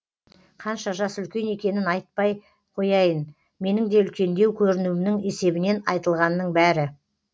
қанша жас үлкен екенін айтпай қояйын менің де үлкендеу көрінуімнің есебінен айтылғанның бәрі